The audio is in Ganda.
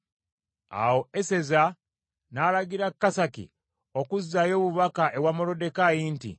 Awo Eseza n’alagira Kasaki okuzzaayo obubaka ewa Moluddekaayi nti,